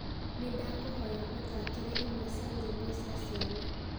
nĩ ndakũhoya ũthaakĩre imwe cia nyĩmbo cia ciana